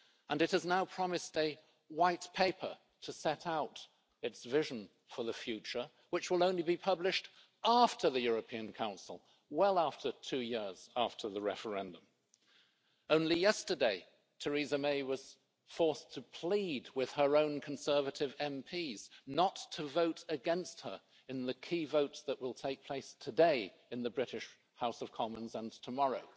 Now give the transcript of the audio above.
It has now promised a white paper to set out its vision for the future, which will only be published after the European Council, well after two years after the referendum. Only yesterday, Theresa May was forced to plead with her own Conservative MPs not to vote against her in the key votes that will take place today in the British House of Commons and tomorrow.